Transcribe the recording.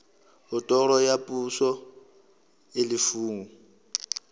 otoro ya poso e lefuwang